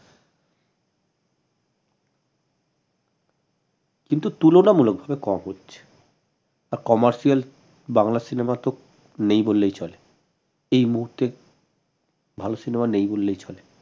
কিন্তু তুলনামুলক ভাবে কম হচ্ছে আর commercial বাংলা cinema তো নেই বললেই চলে এই মুহুর্তে ভাল cinema নেই বললেই চলে